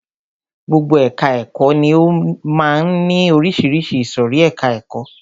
Gbogbo ẹka ẹ̀kọ́ ni ó máa ń ní oríṣiríṣi ìsòrí ẹka ẹ̀kọ́.